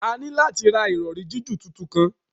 A ni lati ra irọri jiju titun kan